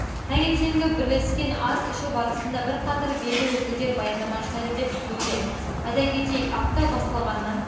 таңертеңгі бірлескен ас ішу барысында бірқатар белді өкілдері баяндама жасайды деп күтілуде айта кетейік апта басталғаннан